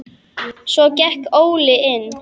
Svo gekk Óli inn.